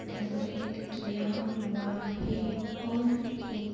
decorate किया हुआ है और एक --